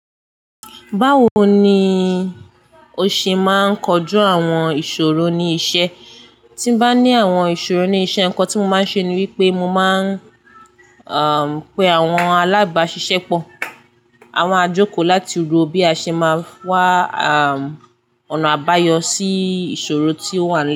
Báwo ni o ṣe máa ń kojú àwọn ìṣòro ní iṣẹ́? Tí n bá ní àwọn ìṣòro ní iṣẹ́, nǹkan tí mo máa ń ṣe ni wípé mo máa ń, àm, pe àwọn alábàáṣiṣẹ́pọ̀, à maa jòkò láti ro bí a ṣe máa wá, àm, ọ̀nà àbáyọ sí ìṣòro tí ó wà náà.